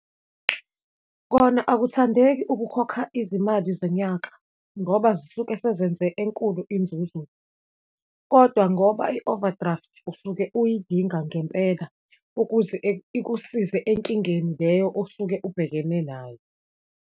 Kona akuthandeki ukukhokha izimali zenyaka ngoba zisuke sizenze enkulu inzuzo, kodwa ngoba i-overdraft usuke uyidinga ngempela, ukuze ikusize enkingeni leyo osuke ubhekene nayo.